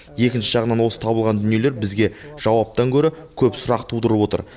екінші жағынан осы табылған дүниелер бізге жауаптан гөрі көп сұрақ тудырып отыр